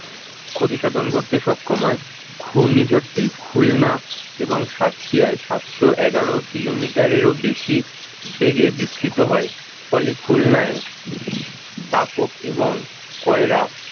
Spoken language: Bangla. ক্ষতিসাধন করতে সক্ষম হয় ঘূর্ণিঝড়টি খুলনা এবং সাতক্ষীয়াই সাতশো এগারো kilometer রও বেশি বেগে বিস্তিত হয়, ফলে খুলনায় দাপক এবং কয়রা